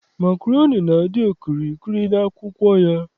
Makroni na-adị okirikiri n'akwụkwọ ya.